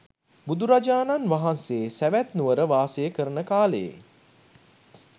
බුදුරජාණන් වහන්සේ සැවැත් නුවර වාසය කරන කාලයේ